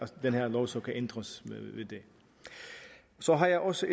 den her lov ændres så har jeg også